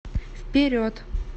вперед